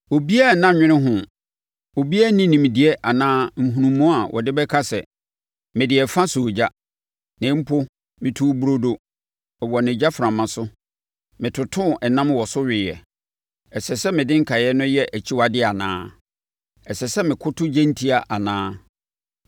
Obiara nna nnwene ho, obiara nni nimdeɛ anaa nhunumu a ɔde bɛka sɛ, “Mede ɛfa sɔɔ ogya; na mpo metoo burodo wɔ ne gyaframa so; metotoo nam wɔ so weeɛ. Ɛsɛ sɛ mede nkaeɛ no yɛ akyiwadeɛ anaa? Ɛsɛ sɛ mekoto gyentia anaa?”